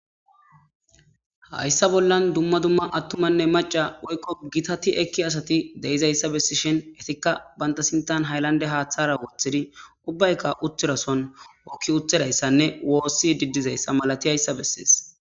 Haysa bolla dumma dumma macatine woyko gitati besiya asati de'izaysa besishin etika banta sinthan haylande hathara wothidi ubbayka utida Sohon hoki utidaysane wosishe dizaysa beses